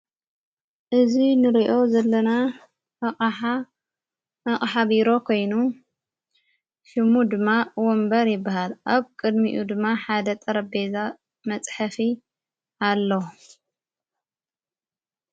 እዙይ ንልኦ ዘለና ኣቐሓ ኣቕሓቢሮ ኮይኑ ሽሙ ድማ ወንበር ይበሃል ኣብ ቅድሚኡ ድማ ሓደ ጠረቤዛ መጽሕፊ ኣለዉ።